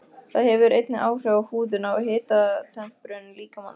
Það hefur einnig áhrif á húðina og hitatemprun líkamans.